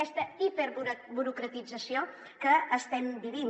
aquesta hiperburocratització que estem vivint